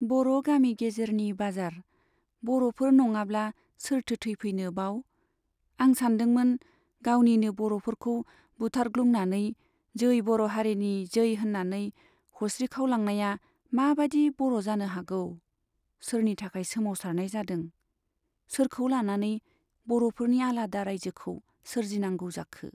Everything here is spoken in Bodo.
बर' गामि गेजेरनि बाजार, बर'फोर नङाब्ला सोरथो थैफैनो बाव ? आं सानदोंमोन गावनिनो बर'फोरखौ बुथारग्लुंनानै जै बर' हारिनि जै होन्नानै हसिख्रावलांनाया मा बादि बर' जानो हागौ ? सोरनि थाखाय सोमावसारनाय जादों , सोरखौ लानानै बर'फोरनि आलादा राइजोखौ सोरजिनांगौ जाखो !